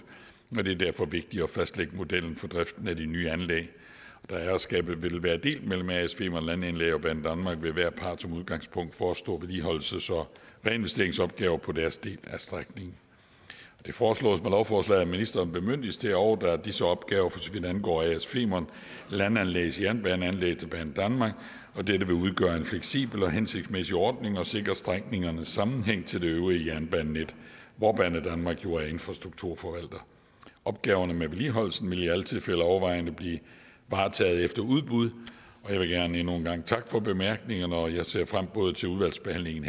og det er derfor vigtigt at fastlægge modellen for driften af de nye anlæg da ejerskabet vil være delt mellem as femern landanlæg og banedanmark vil hver part som udgangspunkt forestå vedligeholdelses og reinvesteringsopgaver på deres del af strækningen det foreslås med lovforslaget at ministeren bemyndiges til at overdrage disse opgaver for så vidt angår as femern landanlægs jernbaneanlæg til banedanmark dette vil udgøre en fleksibel og hensigtsmæssig ordning og sikre strækningernes sammenhæng til det øvrige jernbanenet hvor banedanmark jo er infrastrukturforvalter opgaverne med vedligeholdelsen vil i alle tilfælde overvejende blive varetaget efter udbud jeg vil gerne endnu en gang takke for bemærkningerne og jeg ser frem til udvalgsbehandlingen